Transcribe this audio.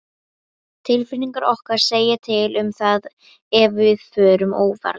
Tilfinningar okkar segja til um það ef við förum óvarlega.